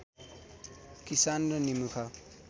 किसान र निमुखा